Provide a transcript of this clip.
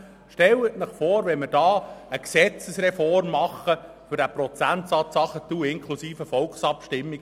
Stellen Sie sich vor, wir machen hier eine Gesetzesreform inklusive Volksabstimmung, um diesen Prozentsatz herunterzuschrauben.